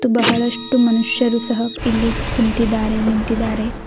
ಬಹಳಷ್ಟು ಮನುಷ್ಯರು ಸಹ ಇಲ್ಲಿ ಕುಂತಿದಾರೆ ನಿಂತಿದಾರೆ.